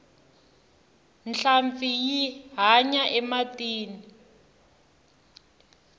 nhlampfi yi hanya ematini